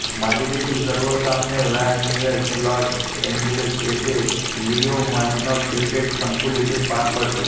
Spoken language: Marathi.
मालिकेतील सर्व सामने व्हान नुयेस लॉस एंजेल्स येथील लिओ मॅग्नस क्रिकेट संकुल येथे पार पडतील